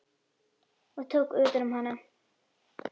og tók utan um hana.